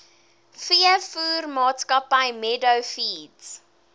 veevoermaatskappy meadow feeds